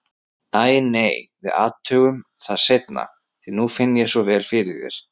Æ, nei, við athugum það seinna, því nú finn ég svo vel fyrir þér.